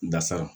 Dasara